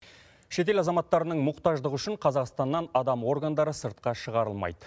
шетел азаматтарының мұқтаждығы үшін қазақстаннан адам органдары сыртқа шығарылмайды